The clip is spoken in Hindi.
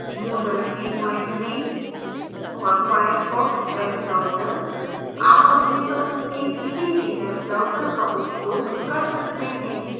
moodle 33 और firefox web browser